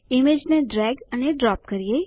ઈમેજને ડ્રેગ અને ડ્રોપ કરીએ